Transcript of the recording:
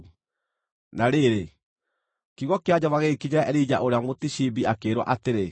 Na rĩrĩ, kiugo kĩa Jehova gĩgĩkinyĩra Elija ũrĩa Mũtishibi akĩĩrwo atĩrĩ,